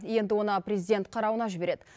енді оны президент қарауына жібереді